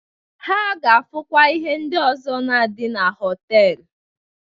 Ha ga-afụkwa ihe ndi ọzọ na-adị na họtelu